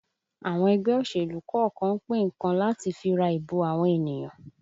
Àwọn ẹgbẹ́ òṣèlú kọ̀ọ̀kan ń pín nǹkan láti fi ra ìbò àwọn ènìyàn